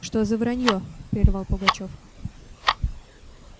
что за вранье прервал пугачёв